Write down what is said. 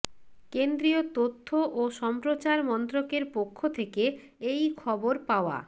কেন্দ্রীয় তথ্য ও সম্প্রচার মন্ত্রকের পক্ষ থেকে এই খবর পাওয়া